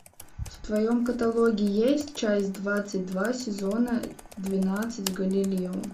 в твоем каталоге есть часть двадцать два сезона двенадцать галилео